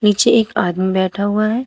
नीचे एक आदमी बैठा हुआ है।